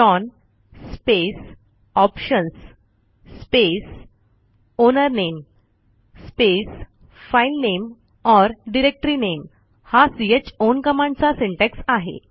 chown space options space owner name space file name or directory name हा chown कमांडचा syntax आहे